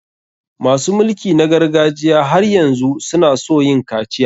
Masu mulki na gargajiya har yanzu su na so yin kaciya.